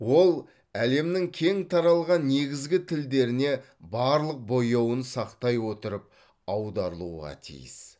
ол әлемнің кең таралған негізгі тілдеріне барлық бояуын сақтай отырып аударылуға тиіс